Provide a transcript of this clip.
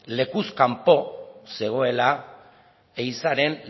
lekuz kanpo zegoela ehizaren